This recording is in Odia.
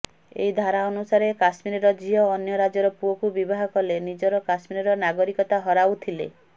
ଏହି ଧାରା ଅନୁସାରେ କଶ୍ମୀରର ଝିଅ ଅନ୍ୟ ରାଜ୍ୟର ପୁଅକୁ ବିବାହ କଲେ ନିଜର କଶ୍ମୀରର ନାଗରିକତା ହରାଉଥିଲେ